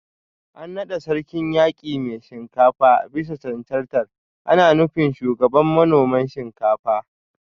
An nada Sarkin Yaki Mai Shinkafa bisa cancantar ana nufin Shugaban manoman Shinkafa